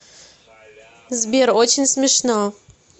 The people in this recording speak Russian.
сбер очень смешно